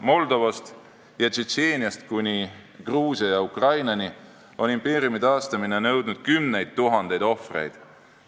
Moldovast ja Tšetšeeniast kuni Gruusia ja Ukrainani on impeeriumi taastamine nõudnud kümneid tuhandeid ohvreid.